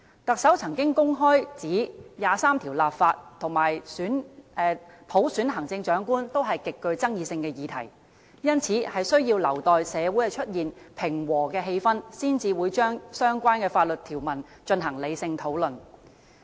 特首曾經公開指出，《基本法》第二十三條立法和普選行政長官均是極具爭議性的議題，因此需要留待社會出現平和的氣氛，才會就相關法律條文進行理性討論。